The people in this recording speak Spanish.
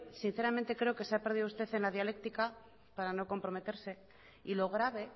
sinceramente creo que se ha perdido usted en la dialéctica para no comprometerse y lo grave